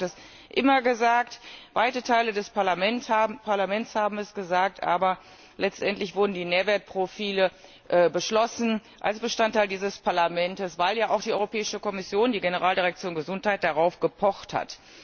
Die EFSA hat das immer gesagt, weite Teile des Parlaments haben es gesagt, aber letztendlich wurden die Nährwertprofile beschlossen, als Bestandteil dieser Verordnung, weil ja auch die Europäische Kommission, die Generaldirektion Gesundheit, darauf gepocht hat.